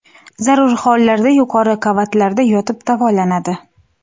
Zarur hollarda yuqori qavatlarda yotib davolanadi.